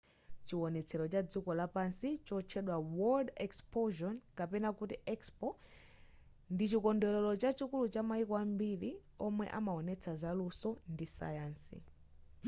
chiwonetsero cha padziko lonse chotchedwa world exposion kapena kuti expo ndichikondwerero chachikulu chamayiko ambiri omwe amawonetsa zalunso ndi sayansi